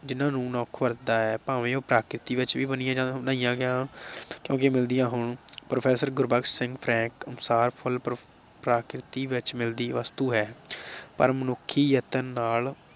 ਜਿਨ੍ਹਾਂ ਨੂੰ ਮਨੁੱਖ ਵਰਤਦਾ ਹੈ ਭਾਵੇ ਉਹ ਪ੍ਰਕਿਰਤੀ ਵਿਚ ਵੀ ਬੁਣੀਆਂ ਜਾਣ ਲਈਆ ਜਾਣ ਅੱਗੇ ਮਿਲਦੀਆਂ ਹੋਣ। professor ਗੁਰਬਖਸ਼ ਸਿੰਘ ਫਰੈਂਕ ਅਨੁਸਾਰ ਫੁੱਲ ਪ੍ਰਕਿਰਤੀ ਵਿਚ ਮਿਲਦੀ ਵਸਤੂ ਹੈ ਪਰ ਮਨੁੱਖੀ ਯਤਨ ਨਾਲ